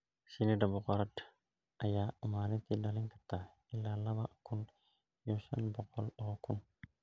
Shinnida boqorad ayaa maalintii dhalin karta ilaa laba kun iyo shan boqol oo ukun.